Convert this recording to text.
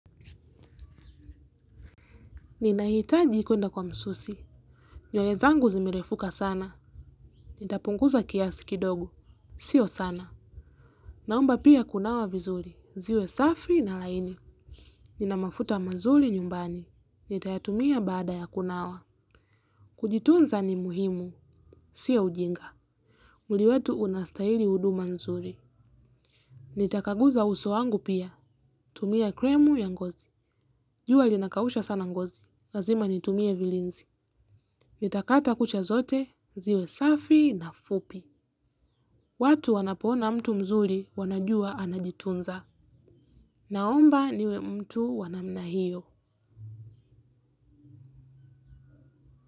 Ninahitaji kwenda kwa msusi. Nywele zangu zimerefuka sana. Nitapunguza kiasi kidogo. Sio sana. Naomba pia kunawa vizuri. Ziwe safi na laini. Nina mafuta mazuri nyumbani. Nitayatumia baada ya kunawa. Kujitunza ni muhimu. Sio ujinga. Mwili wetu unahitaji huduma nzuri. Nitakaguza uso wangu pia. Tumia kremu ya ngozi. Jua linakausha sana ngozi. Lazima nitumie vilinzi. Nitakata kucha zote ziwe safi na fupi. Watu wanapoona mtu mzuri wanajua anajitunza. Naomba niwe mtu wa namna hiyo.